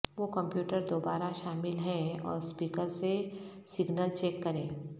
وہ کمپیوٹر دوبارہ شامل ہیں اور اسپیکر سے سگنل چیک کریں